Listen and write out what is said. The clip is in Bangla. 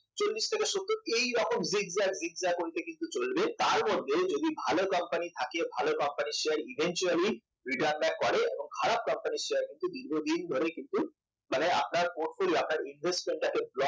চল্লিশ থেকে সত্ত এইরকম zigzag zigzag way তে কিন্তু চলবে তার মধ্যে যদি ভালো company থাকে তাহলে ভালো company র শেয়ার eventually return back করে এবং খারাপ company শেয়ার কিন্তু দীর্ঘদিন ধরে কিন্তু মানে আপনার portfolio আপনার investment টাকে block